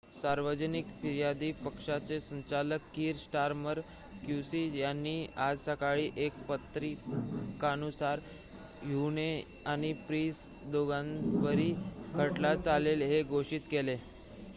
सार्वजनिक फिर्यादी पक्षाचे संचालक कीर स्टारमर क्यूसी यांनी आज सकाळी एका परिपत्रकानुसार हुह्ने आणि प्रीस दोघांच्यावरही खटला चालेल हे घोषित केले